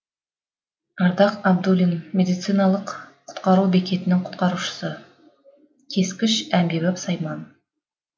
ардақ абдулин медициналық құтқару бекетінің құтқарушысы кескіш әмбебап сайман